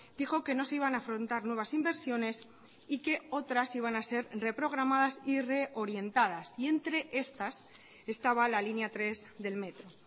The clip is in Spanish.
dijo que no se iban a afrontar nuevas inversiones y que otras iban a ser reprogramadas y reorientadas y entre estas estaba la línea tres del metro